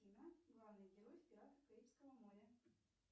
афина главный герой в пиратах карибского моря